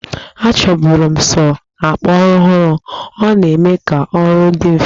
Achọburu m sọọ ọgbaraọhụrụ, ọ na-eme ka ọrụ dị mfe